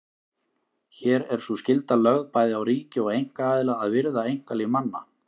Hér er sú skylda lögð bæði á ríki og einkaaðila að virða einkalíf manna.